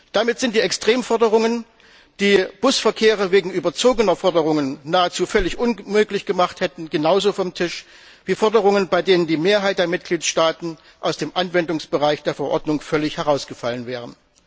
Damit sind die Extremforderungen, die den Busverkehr wegen überzogener Forderungen nahezu völlig unmöglich gemacht hätten, genauso vom Tisch wie Forderungen, bei denen die Mehrheit der Mitgliedstaaten aus dem Anwendungsbereich der Verordnung völlig herausgefallen wäre.